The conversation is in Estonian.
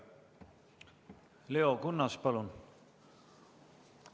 Leo Kunnas, palun!